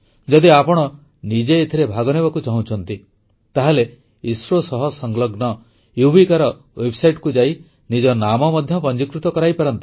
ଯଦି ଆପଣ ନିଜେ ଏଥିରେ ଭାଗନେବାକୁ ଚାହୁଁଛନ୍ତି ତାହେଲେ ଇସ୍ରୋ ସହ ସଂଲଗ୍ନ ୟୁବିକାର ୱେବସାଇଟକୁ ଯାଇ ନିଜ ନାମ ମଧ୍ୟ ପଞ୍ଜିକୃତ କରାଇପାରନ୍ତି